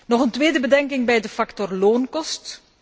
Nog een tweede bedenking bij de factor loonkosten.